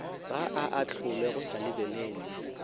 a ahlolwe go sa lebelelwe